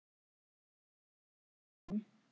Mér þykir vænt um hann.